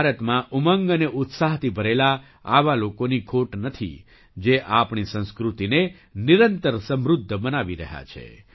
ભારતમાં ઉમંગ અને ઉત્સાહથી ભરેલા આવા લોકોની ખોટ નથી જે આપણી સંસ્કૃતિને નિરંતર સમૃદ્ધ બનાવી રહ્યા છે